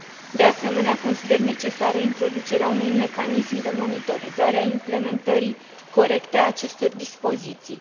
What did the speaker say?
De asemenea, consider necesară introducerea unui mecanism de monitorizare a implementării corecte a acestor dispoziții.